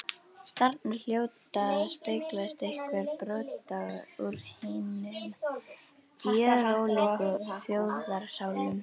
Þarna hljóta að speglast einhver brot úr hinum gjörólíku þjóðarsálum.